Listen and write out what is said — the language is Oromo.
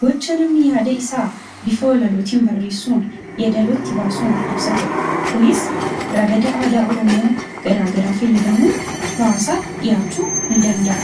Gocha namni yaada isaa walaloon barreessuun, yeedaloo itti baasuun ibsatuudha. Kunis ragada aadaa Oromoo garaa garaa fayyadamuun hawaasaaf dhihaachuu ni danda'a.